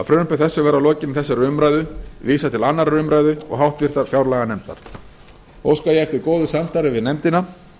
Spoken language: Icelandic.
frumvarpi þessu verði að lokinni þessari umræðu vísað til annarrar umræðu og háttvirtrar fjárlaganefndar óska ég eftir góðu samstarfi við nefndina